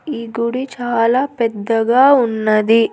ఈ గుడి చాలా పెద్దగా ఉన్నది.